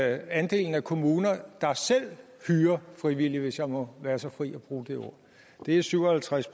andelen af kommuner der selv hyrer frivillige hvis jeg må være så fri at bruge det ord det er syv og halvtreds